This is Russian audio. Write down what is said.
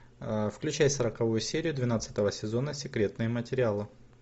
включай сороковую серию двенадцатого сезона секретные материалы